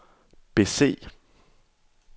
bese